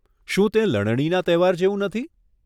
શું તે લણણીના તહેવાર જેવું નથી?